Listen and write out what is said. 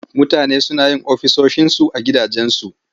Mutane suna yin ofisoshinsu a gidajensu.